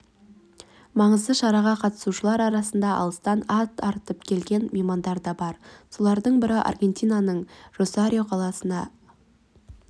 маңызды шараға қатысушылар арасында алыстан ат арытып келген меймандар да бар солардың бірі аргентинаның росарио қаласында